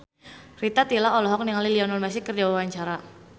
Rita Tila olohok ningali Lionel Messi keur diwawancara